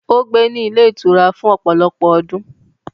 Ó gbé ní ilé-ìtura fún ọ̀pọ̀lọpọ̀ ọdún.